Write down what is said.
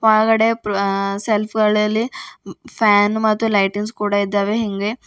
ಒಳಗಡೆ ಸೆಲ್ಫ್ ಅಳಲಿ ಫ್ಯಾನ್ ಮತ್ತು ಲೈಟಿಂಗ್ಸ್ ಕೂಡ ಇದ್ದಾವೆ ಹಿಂಗೆ--